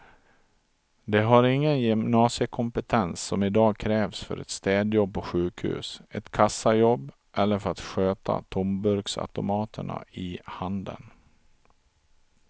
De har ingen gymnasiekompetens som i dag krävs för ett städjobb på sjukhus, ett kassajobb eller för att sköta tomburksautomaterna i handeln.